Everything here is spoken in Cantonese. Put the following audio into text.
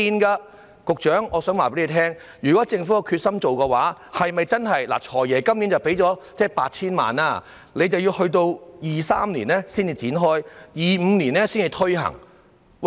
局長，我想告訴你，如果政府有決心做的話，是否真的......"財爺"今年撥出 8,000 萬元，但要到2023年才展開試驗計劃，到2025年才推行。